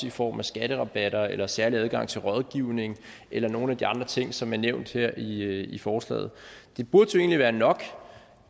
i form af skatterabatter eller særlig adgang til rådgivning eller nogle af de andre ting som er nævnt her i i forslaget det burde jo egentlig være nok